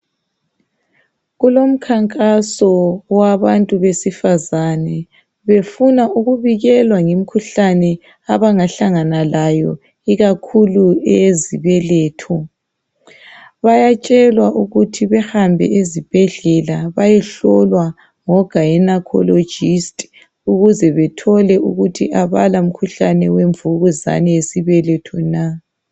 kulomkhankaso wabantu besifazane befuna ukubikelwa ngemikhuhlane abangahlangana layo ikakhulu eyezibeletho bayatshelwa ukuthi behambe ezibhedlela bayehlolwa ngo gynecologists ukuz bathelo ukuthi abala mkhuhlane wemvukuzane yesibeletho na